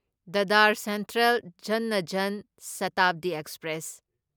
Dadar central Jalna Jan Shatabdi express